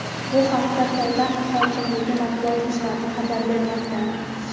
Bu haqda poytaxt hokimligi matbuot xizmati xabar bermoqda.